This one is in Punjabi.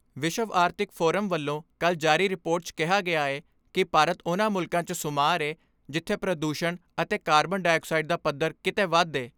ਵਿਸ਼ਵ ਆਰਥਿਕ ਫੋਰਸ ਵੱਲੋਂ ਕੱਲ੍ਹ ਜਾਰੀ ਰਿਪੋਰਟ 'ਚ ਕਿਹਾ ਗਿਆ ਏ ਕਿ ਭਾਰਤ ਉਨ੍ਹਾਂ ਮੁਲਕਾਂ 'ਚ ਸ਼ੁਮਾਰ ਏ ਜਿੱਥੇ ਪ੍ਰਦੂਸ਼ਣ ਅਤੇ ਕਾਰਬਨ ਡਾਈਆਕਸਾਈਡ ਦਾ ਪੱਧਰ ਕਿਤੇ ਵੱਧ ਏ।